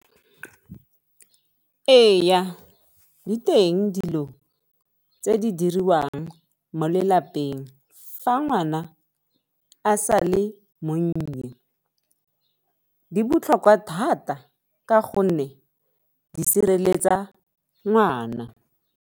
Ee, di teng dilo tse di diriwang mo lelapeng fa ngwana a sa le monnye, di botlhokwa thata ka gonne di sireletsa ngwana.